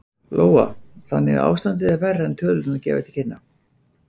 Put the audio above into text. Lóa: Þannig að ástandið er verra en tölurnar gefa til kynna?